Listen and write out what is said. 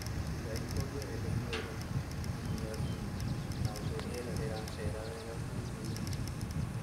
Iga ikũmbĩ rĩrĩ itheru , iniaru na ũndũ rĩera rĩracera wega kũu thĩinĩ.